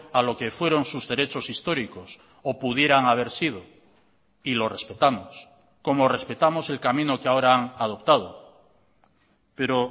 a lo que fueron sus derechos históricos o pudieran haber sido y lo respetamos como respetamos el camino que ahora han adoptado pero